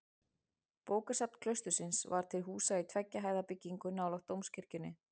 Bókasafn klaustursins var til húsa í tveggja hæða byggingu nálægt dómkirkjunni.